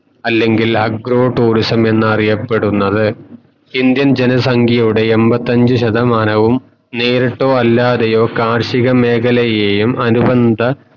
അല്ലെങ്കിൽ agro tourism എന്നറിയുപ്പെടുന്നത് indian ജന സംഖ്യയുടെ എമ്പത്തഞ്ചു ശതമാനവും നേരിട്ടോ അല്ലതയോ കാർഷിക മേഖലയെയും അനുബന്ധ